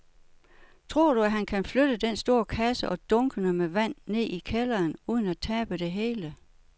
Tror du, at han kan flytte den store kasse og dunkene med vand ned i kælderen uden at tabe det hele?